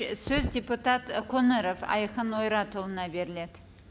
і сөз депутат қоңыров айқын ойратұлына беріледі